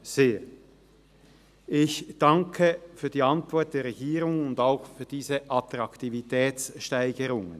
Ich danke für die Antwort der Regierung und auch für diese Attraktivitätssteigerung.